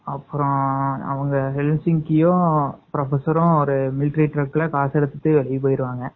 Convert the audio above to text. அப்பறம் professor ஒரு military ட்ரக்ல காச எடுத்துட்டு போயிருவாங்க.